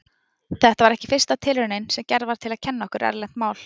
Þetta var ekki fyrsta tilraunin sem gerð var til að kenna okkur erlent mál.